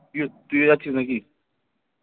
তুই ও তুইও যাচ্ছিস নাকি?